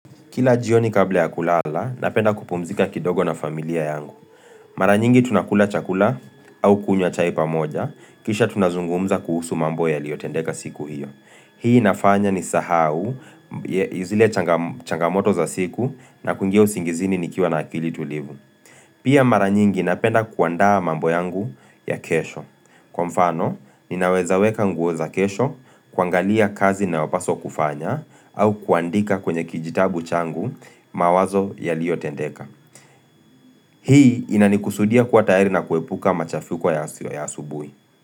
Kila jioni kabla ya kulala, napenda kupumzika kidogo na familia yangu. Mara nyingi tunakula chakula au kunywa chai pamoja, kisha tunazungumza kuhusu mambo yaliyotendeka siku hiyo. Hii inafanya nisahau, zile changamoto za siku na kuingia usingizini nikiwa na akili tulivu. Pia mara nyingi napenda kuandaa mambo yangu ya kesho. Kwa mfano, ninaweza weka nguo za kesho, kuangalia kazi inayopaswa kufanya au kuandika kwenye kijitabu changu mawazo yaliyo tendeka. Hii inanikusudia kuwa tayari na kuepuka machafuko ya asubuhi.